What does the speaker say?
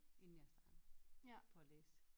Inden jeg startede på at læse